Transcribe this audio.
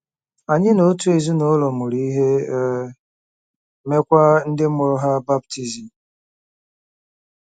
Anyị na otu ezinụlọ mụụrụ ihe, e meekwa ndị mụrụ ha baptizim.